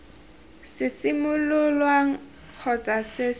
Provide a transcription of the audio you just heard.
se simololwang kgotsa se se